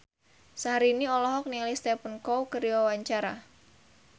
Syahrini olohok ningali Stephen Chow keur diwawancara